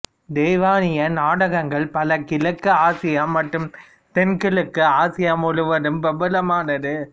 தைவானிய நாடகங்கள் பல கிழக்கு ஆசியா மற்றும் தென்கிழக்கு ஆசியா முழுவதும் பிரபலமானது